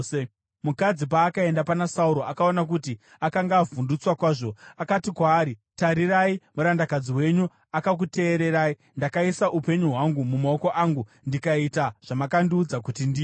Mukadzi paakaenda pana Sauro akaona kuti akanga avhundutswa kwazvo, akati kwaari, “Tarirai, murandakadzi wenyu akakuteererai. Ndakaisa upenyu hwangu mumaoko angu ndikaita zvamakandiudza kuti ndiite.